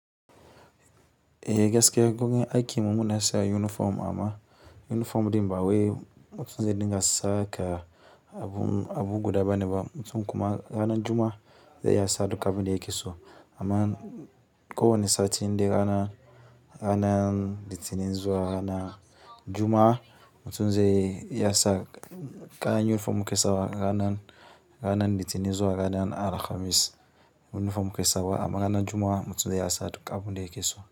Ehh gaskiya kuma aikin mu muna sa uniform amma yunifom ɗin ba we mutumze ɗin gas sa ka abu guda bane ba. Mutum kuma ranan Juma'a zai yi asa tuk abu da yake so. Amma ko wane sati inde ranan, ranan litinin zuwa ranan Juma'a, mutum zai iya sa kaya yunifom mu ke sawa ranan, ranan litinin zuwa ranan Alhamis yunifom ke sawa amma ranan Juma'a mutum zai yi asa duk abu ne yake so.